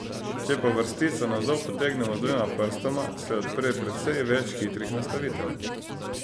Če pa vrstico navzdol potegnemo z dvema prstoma, se odpre precej več hitrih nastavitev.